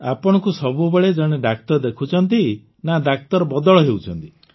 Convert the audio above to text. ଆପଣଙ୍କୁ ସବୁବେଳେ ଜଣେ ଡାକ୍ତର ଦେଖୁଛନ୍ତି ନାଁ ଡାକ୍ତର ବଦଳ ହେଉଛନ୍ତି